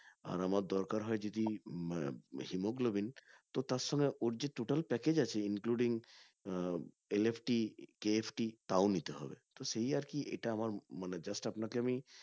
আর আমার দরকার হয় যদিআহ hemoglobin তো তার সঙ্গে ওর যে total package আছে includingLFT-KFT তাও নিতে হবে সেই আরকি এটা আমার just আপনাকে আমি